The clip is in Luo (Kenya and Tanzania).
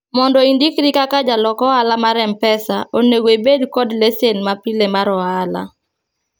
mondo indikri kaka jalok ohala mar mpesa onego ibed kod lesen mapile mar ohala